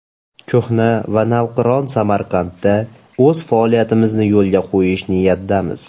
Ko‘hna va navqiron Samarqandda o‘z faoliyatimizni yo‘lga qo‘yish niyatidamiz.